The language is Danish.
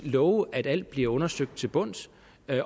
love at alt bliver undersøgt til bunds